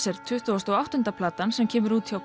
er tuttugasta og áttunda platan sem kemur út hjá